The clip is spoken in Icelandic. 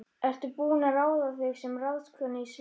Ertu búin að ráða þig sem ráðskonu í sveit?